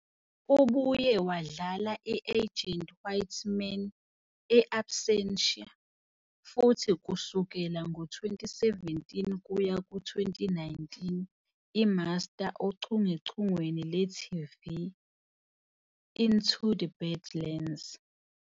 Ubuye wadlala i-Agent Whitman e- "Absentia" futhi kusukela ngo-2017 kuya ku-2019 i-Master ochungechungeni lwe-TV "Into the Badlands".